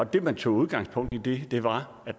det man tog udgangspunkt i var at